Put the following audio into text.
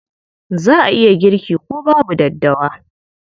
Za a iya girki ko babu daddawa.